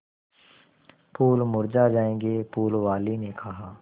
फूल मुरझा जायेंगे फूल वाली ने कहा